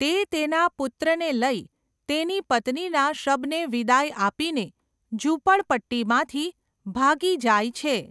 તે તેના પુત્રને લઈ, તેની પત્નીના શબને વિદાય આપીને, ઝૂંપડપટ્ટીમાંથી ભાગી જાય છે.